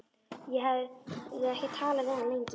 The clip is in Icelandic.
Ég hafði ekki talað við hann lengi.